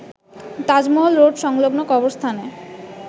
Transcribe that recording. Taj Mahal road সংলগ্ন কবরস্থানে